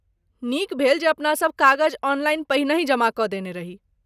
नीक भेल जे अपनासभ कागज ऑनलाइन पहिनहि जमा कऽ देने रही।